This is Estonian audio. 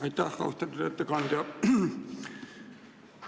Aitäh, austatud ettekandja!